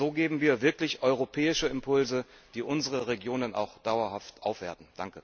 So geben wir wirklich europäische Impulse, die unsere Regionen auch dauerhaft aufwerten.